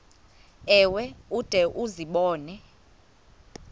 ewe ude uzibone